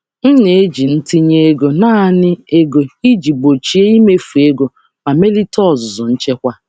M na-eji mmefu ego na-ego naanị iji gbochie mmefu oke ma meziwanye ọzụzụ nchekwa.